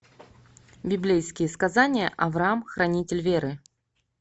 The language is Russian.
библейские сказания авраам хранитель веры